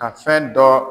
Ka fɛn dɔ